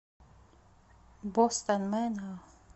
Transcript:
бостон мэнор